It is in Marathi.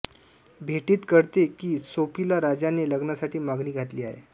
भेटीत कळते की सोफीला राजाने लग्नासाठी मागणी घातली आहे